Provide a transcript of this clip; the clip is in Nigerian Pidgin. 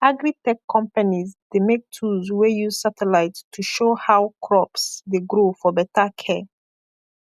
agritech companies dey make tools wey use satellite to check how crops dey grow for better care